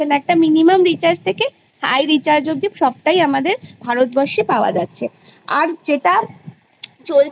সেখানে প্রচুর যে Subject গুলো আমরা এতোদিনা পরে এসছি আমরা Generally সব বিষয় জ্ঞান অর্জন করতে পারি